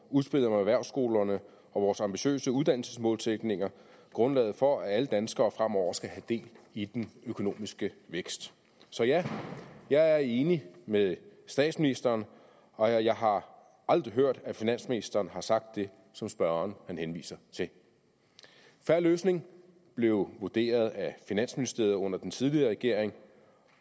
udspillet om erhvervsskolerne og vores ambitiøse uddannelsesmålsætninger grundlaget for at alle danskere fremover skal have del i den økonomiske vækst så ja jeg er enig med statsministeren og jeg har aldrig hørt at finansministeren har sagt det som spørgeren henviser til fair løsning blev vurderet af finansministeriet under den tidligere regering